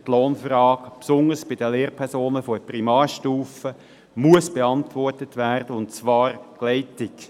die Lohnfrage, besonders bei den Lehrpersonen der Primarstufe, muss beantwortet werden, und zwar rasch.